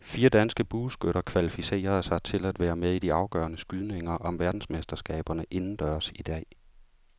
Fire danske bueskytter kvalificerede sig til at være med i de afgørende skydninger om verdensmesterskaberne indendørs i dag.